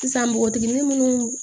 Sisan npogotiginin munnu